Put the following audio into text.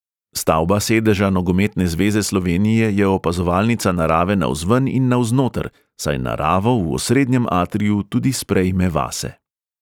Stavba sedeža nogometne zveze slovenije je opazovalnica narave navzven in navznoter, saj naravo v osrednjem atriju tudi sprejme vase.